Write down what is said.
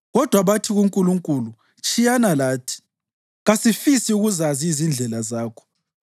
Kodwa bathi kuNkulunkulu, ‘Tshiyana lathi! Kasifisi ukuzazi izindlela zakho.